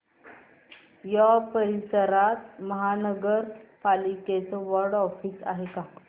या परिसरात महानगर पालिकेचं वॉर्ड ऑफिस आहे का